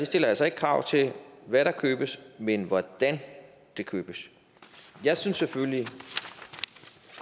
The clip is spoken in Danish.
stiller altså ikke krav til hvad der købes men hvordan det købes jeg synes selvfølgelig